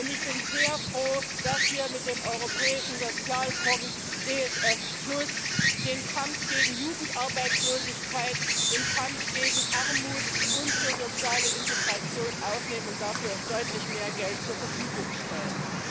Und ich bin sehr froh, dass wir mit dem Europäischen Sozialfonds ESF den Kampf gegen Jugendarbeitslosigkeit, den Kampf gegen Armut und für soziale Integration aufnehmen und dafür deutlich mehr Geld zur Verfügung stellen.